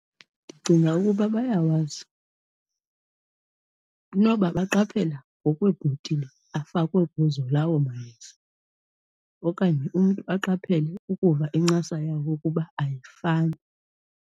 Ndicinga ukuba bayawazi. Inoba baqaphela ngokweebhotile afakwe kuzo lawo mayeza. Okanye umntu aqaphele ukuva incasa yawo ukuba ayifani.